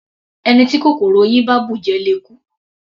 Ẹni tí kòkòrò oyin bá bùjẹ le kú.